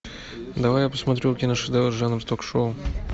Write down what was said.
давай я посмотрю киношедевр жанр ток шоу